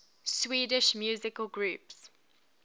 swedish musical groups